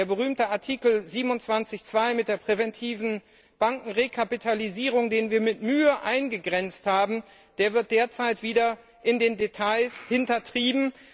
Der berühmte Artikel 27 Absatz 2 mit der präventiven Bankenrekapitalisierung, den wir mit Mühe eingegrenzt haben, wird derzeit wieder in den Details hintertrieben.